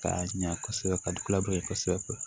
Ka ɲa kɔsɛbɛ ka dulaban ye kosɛbɛ